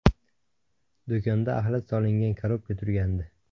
Do‘konda axlat solingan korobka turgandi.